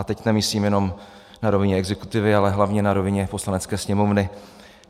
A teď nemyslím jenom na rovině exekutivy, ale hlavně na rovině Poslanecké sněmovny.